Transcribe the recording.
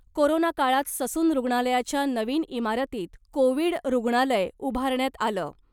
Corona काळात Sassoon रुग्णालयाच्या नवीन इमारतीत ' कोविड रुग्णालय ' उभारण्यात आलं .